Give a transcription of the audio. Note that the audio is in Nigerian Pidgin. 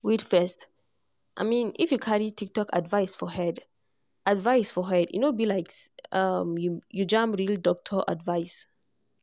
wait first - if you carry tiktok advice for head advice for head e no be like make you jam real doctor advice.